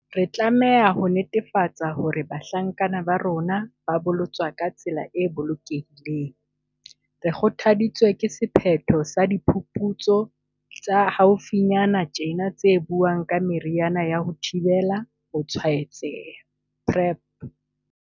Re tlameha ho netefatsa hore bahlankana ba rona ba bolotswa ka tsela e bolokehileng. Re kgothaditswe ke sephetho sa diphuputsu tsa haufi nyana tjena tse buang ka meriana ya ho thibela tshwaetseha, PrEP.